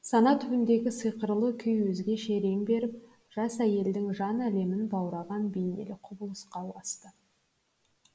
сана түбіндегі сиқырлы күй өзгеше рең беріп жас әйелдің жан әлемін баураған бейнелі құбылысқа ұласты